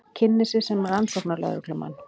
Kynnir sig sem rannsóknarlögreglumann.